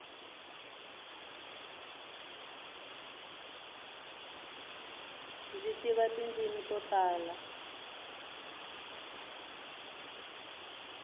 mdzi tiva tindzimi to tala